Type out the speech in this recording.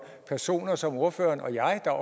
personer som ordføreren og jeg der